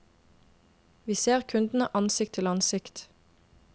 Vi ser kundene ansikt til ansikt.